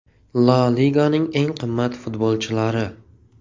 La Liganing eng qimmat futbolchilari.